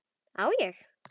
Á ég.?